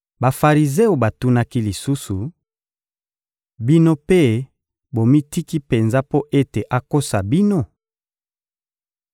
Bafarizeo batunaki lisusu: — Bino mpe bomitiki penza mpo ete akosa bino?